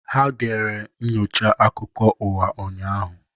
Ha gere nnyocha akụkọ ụwa ụnyaahụ.